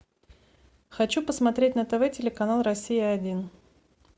хочу посмотреть на тв телеканал россия один